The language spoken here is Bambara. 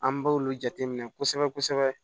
An b'olu jateminɛ kosɛbɛ kosɛbɛ